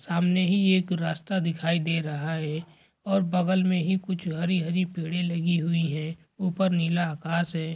सामने ही एक रास्ता दिखाई दे रहा है और बगल मे ही कुछ हरी हरी पेड़े लगी हुई है ऊपर नीला आकाश है।